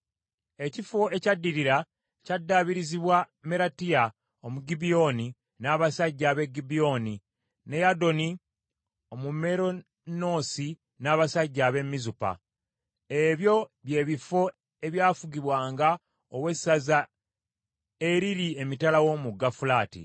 Ekifo ekyaddirira kyaddaabirizibwa Meratiya Omugibyoni n’abasajja ab’e Gibyoni ne Yadoni Omumeronoosi n’abasajja ab’e Mizupa. Ebyo by’ebifo ebyafugibwanga ow’essaza eriri emitala w’omugga Fulaati.